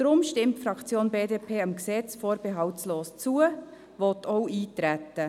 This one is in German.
Darum stimmt die Fraktion BDP dem Gesetz vorbehaltlos zu und will auch darauf eintreten.